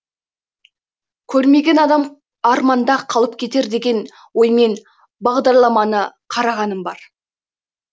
көрмеген адам арманда қалып кетер деген оймен бағдарламаны қарағаным бар